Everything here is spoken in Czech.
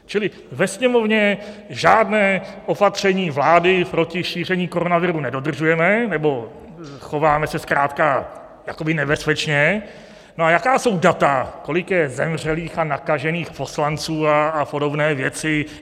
Čili ve Sněmovně žádné opatření vlády proti šíření koronaviru nedodržujeme, nebo chováme se zkrátka jakoby nebezpečně - no a jaká jsou data, kolik je zemřelých a nakažených poslanců a podobné věci?